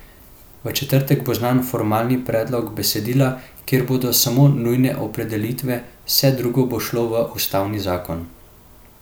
V četrtek bo znan formalni predlog besedila, kjer bodo samo nujne opredelitve, vse drugo bo šlo v ustavni zakon.